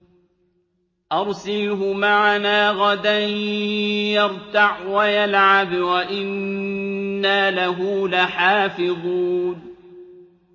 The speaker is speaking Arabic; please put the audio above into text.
أَرْسِلْهُ مَعَنَا غَدًا يَرْتَعْ وَيَلْعَبْ وَإِنَّا لَهُ لَحَافِظُونَ